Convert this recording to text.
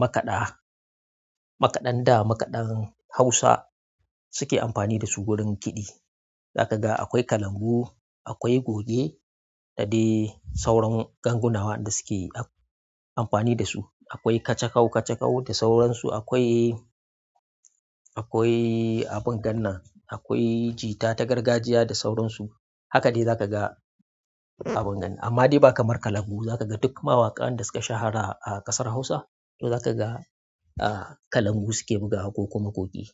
makaɗa, nakaɗan da, makaɗan Hausa suke amfani da su wajen kiɗi. Za ka ga akwai kalangu, akwai goge da dai sauran ganguna wanda suke a-amfani da su. Akwai kacakkau kacakkau da sauransu. Akwai, akwai abin gan nan, akwai jita ta gargajiya da sauransu. Haka dai za ka ga abin gani. Amma dai ba kamar kalangu. Za ka ga duk mawaƙan da suke shahara a ƙasar Hausa, to za ka ga, a, kalangu suke bugawa ko kuma goge.